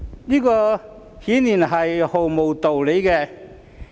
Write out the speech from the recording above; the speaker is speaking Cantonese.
這顯然是毫無道理的。